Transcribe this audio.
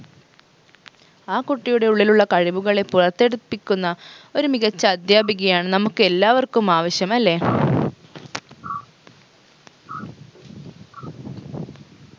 ആ കുട്ടിയുടെ ഉള്ളിലുള്ള കഴിവുകളെ പുറത്തെടുപ്പിക്കുന്ന ഒരു മികച്ച അധ്യാപികയാണ് നമുക്ക് എല്ലാവർക്കും ആവശ്യം അല്ലെ